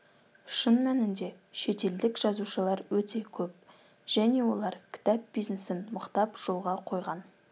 шын мәнінде шетелдік жазушылар өте көп және олар кітап бизнесін мықтап жолға қойған